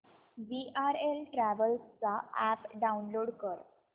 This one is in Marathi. वीआरएल ट्रॅवल्स चा अॅप डाऊनलोड कर